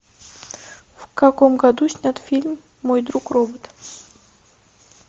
в каком году снят фильм мой друг робот